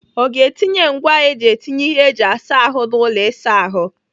Ọ ga-etinye ngwaa eji etinye ihe eji asa ahụ n'ụlọ ịsa ahụ?